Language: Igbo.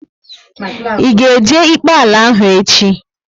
Ị ga e jee ikpe ala ahu echi?